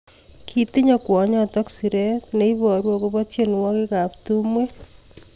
Kitinye kwonyotok siret neiboru akobo tienwokik ab tumwek.